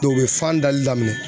u be fan dali daminɛ.